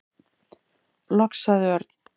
Loks sagði Örn.